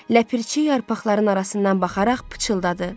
Ləpirçi yarpaqların arasından baxaraq pıçıldadı.